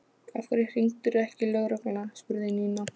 Ef hann var ferskeytla var ég atómljóð.